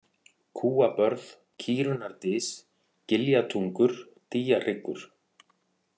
Kúabörð, Kýrunnardys, Giljatungur, Dýjahryggur